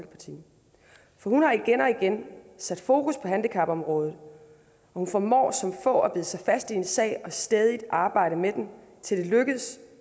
hun har igen og igen sat fokus på handicapområdet og hun formår som få at bide sig fast i en sag og stædigt arbejde med den til det lykkes